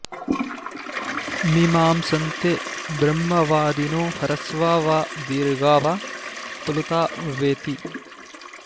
मीमांसन्ते ब्रह्मवादिनो ह्रस्वा वा दीर्घा वा प्लुता वेति